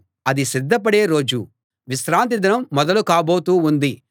అది సిద్ధపడే రోజు విశ్రాంతి దినం మొదలు కాబోతూ ఉంది